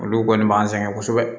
Olu kɔni b'an sɛgɛn kosɛbɛ